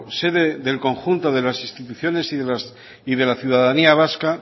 sede del conjunto de las instituciones y de la ciudadanía vasca